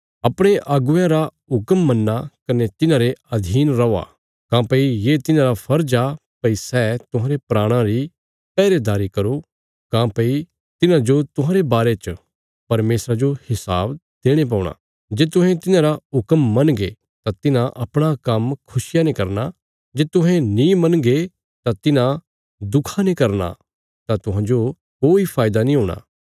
अपणे अगुवेयां रा हुक्म मन्नो कने तिन्हांरे अधीन रौ काँह्भई ये तिन्हांरा फर्ज आ भई सै तुहांरे प्राणां री पहरेदारी करो काँह्भई तिन्हांजो तुहांरे बारे च परमेशरा जो हिसाब देणे पौणा जे तुहें तिन्हांरा हुक्म मनगे तां तिन्हां अपणा काम्म खुशिया ने करना जे तुहें नीं मनगे तां तिन्हां दुखा ने करना तां तुहांजो कोई फायदा नीं हूणा